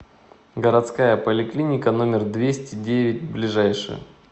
городская поликлиника номер двести девять ближайший